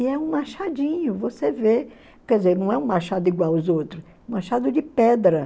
E é um machadinho, você vê, quer dizer, não é um machado igual aos outros, é um machado de pedra.